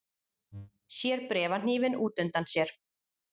Sér bréfahnífinn út undan sér.